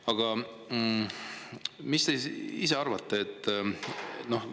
Aga mis te ise arvate?